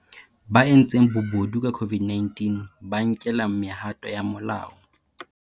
Ba entseng bobodu ka COVID-19 ba nkelwa mehato ya molao